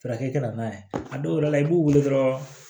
Farajɛ ka na n'a ye a dɔw yɛrɛ la i b'u wele dɔrɔn